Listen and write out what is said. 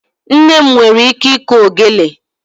Nne m nwere ike ịkụ ogelè.